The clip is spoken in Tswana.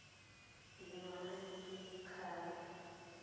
a dingwaga di le tlhano